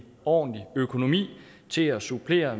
ordentlig økonomi til at supplere